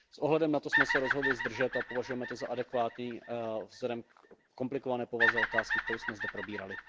S ohledem na to jsme se rozhodli zdržet se a považujeme to za adekvátní vzhledem ke komplikované povaze otázky, kterou jsme zde probírali.